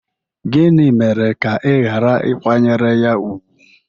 Gịnị mere ka ị ghara ịkwanyere ya ùgwù?